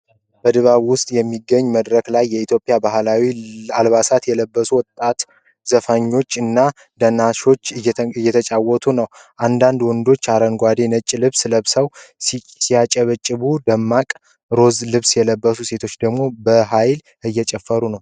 በድባብ ውስጥ በሚገኝ መድረክ ላይ፣ የኢትዮጵያ ባህላዊ አልባሳትን የለበሱ ወጣት ዘፋኞች እና ዳንሰኞች እየተጫወቱ ነው። አንዳንድ ወንዶች አረንጓዴና ነጭ ልብስ ለብሰው ሲያጨበጭቡ፣ ደማቅ ሮዝ ልብስ የለበሰች ሴት ደግሞ በኃይል እየጨፈረች ነው።